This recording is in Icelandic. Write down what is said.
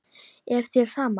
Er þér sama?